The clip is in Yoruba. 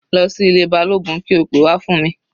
Lọ sí ilé Balógun kí o pe wá fún mi.